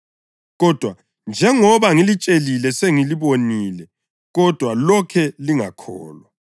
Kodwa njengoba ngilitshelile selingibonile, kodwa lokhe lingakholwa.